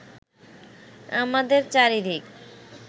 আমাদের চারিদিকে